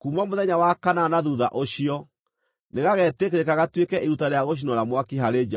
Kuuma mũthenya wa kanana na thuutha ũcio, nĩgagetĩkĩrĩka gatuĩke iruta rĩa gũcinwo na mwaki harĩ Jehova.